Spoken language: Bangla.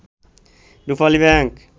রূপালী ব্যাংক